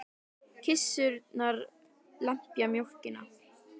Kisurnar lepja mjólkina.